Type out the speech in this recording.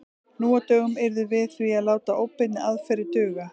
Nú á dögum yrðum við því að láta óbeinni aðferðir duga.